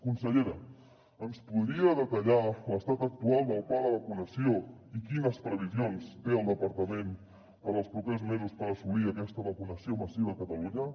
consellera ens podria detallar l’estat actual del pla de vacunació i quines previsions té el departament per als propers mesos per assolir aquesta vacunació massiva a catalunya moltes gràcies